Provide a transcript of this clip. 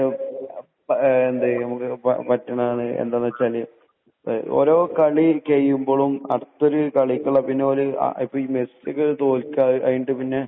പറ്റുന്നത് എന്താണെന്നു വച്ചാൽ ഓരോ കളി കഴിയുമ്പോഴും അടുത്തൊരു കളിക്കുള്ള